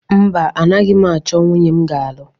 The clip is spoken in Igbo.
Mba, anaghị m achọ nwunye m ga-alụ.